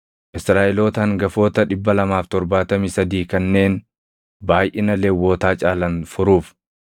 Israaʼeloota hangafoota 273 kanneen baayʼina Lewwotaa caalan furuuf,